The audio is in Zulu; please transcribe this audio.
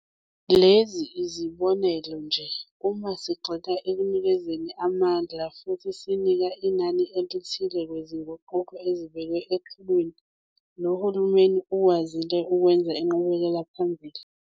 Lezi yizibonelo nje, uma sigxila ekunikezeni amandla futhi sinaka inani elithile kwizinguquko ezibekwe eqhulwini, lo hulumeni ukwazile ukwenza inqubekelaphambili.